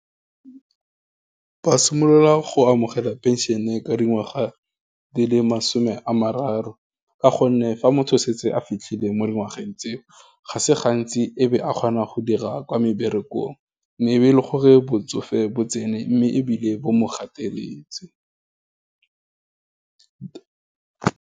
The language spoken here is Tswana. Ba simolola go amogela pension-e, ka dingwaga di le masome a mararo, ka gonne fa motho o setse a fitlhile mo dingwageng tseo, ga se gantsi e be a kgona go dira kwa meberekong, mme e be e le gore botsofe bo tsene, mme ebile bo mo gateletse.